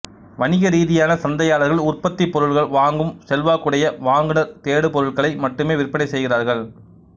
வணீகரீதியான சந்தையாளர்கள் உற்பத்திப்பொருள் வாங்கும் செல்வாக்குயடைய வாங்குநர் தேடு பொருள்களை மட்டும் விற்பனை செய்கிறார்கள்